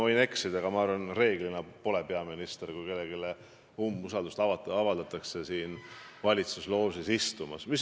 Ma võin eksida, aga ma arvan, et kui kellelegi umbusaldust avaldatakse, siis reeglina peaminister siin valitsuse loožis ei istu.